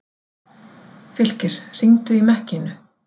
Fylkir, hringdu í Mekkínu.